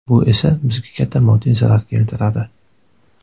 Bu esa bizga katta moddiy zarar keltiradi.